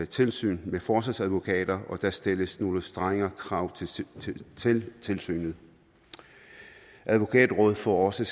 tilsyn med forsvarsadvokater og der stilles nogle strengere krav til tilsynet advokatrådet får også